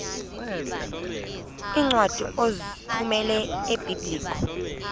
iincwadi ozithumela ebiblecor